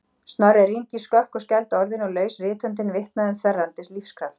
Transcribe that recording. Snorri rýndi í skökk og skæld orðin og laus rithöndin vitnaði um þverrandi lífskraft.